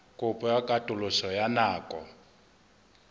kopo ya katoloso ya nako